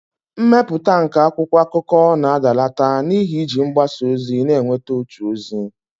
mmepụta nke akwụkwọ akụkọ na-adalata n'ihi iji mgbasa ozi na-enweta otu ozi